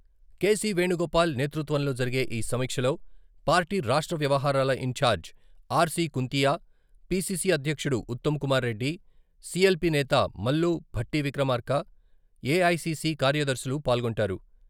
కె.సి.వేణుగోపాల్ నేతృత్వంలో జరిగే ఈ సమీక్షలో పార్టీ రాష్ట్ర వ్యవహారాల ఇన్ఛార్జి ఆర్.సి.కుంతియా, పిసిసి అధ్యక్షుడు ఉత్తమ్కుమార్రెడ్డి, సి.ఎల్.పి నేత మల్లు భట్టివిక్రమార్క, ఏఐసిసి కార్యదర్శులు పాల్గొంటారు.